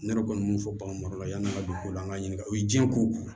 Ne yɛrɛ kɔni min fɔ bagan marala yann'an ka don ko la an k'an ɲininka o ye diɲɛ ko